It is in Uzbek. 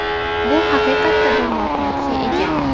Bu haqiqatda bir mohiyatga ega.